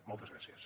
moltes gràcies